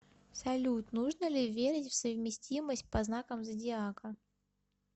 салют нужно ли верить в совместимость по знакам зодиака